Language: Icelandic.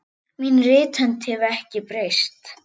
Mín rithönd hefur ekki breyst.